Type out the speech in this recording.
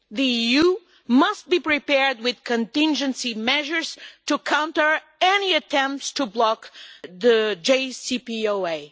The EU must be prepared with contingency measures to counter any attempts to block the JCPOA.